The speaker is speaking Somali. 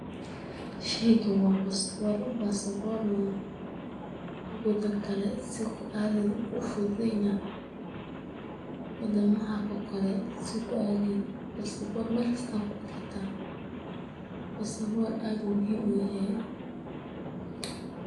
Sheygan waa bastabor, bastabor na wadan kale si ku aadi leheyd ayu kufududeyna, wadamaha oo kale si ku adlehed, bastabor Mel kista ad ku aadi karta, bastabor aad ayu muhim uyahay,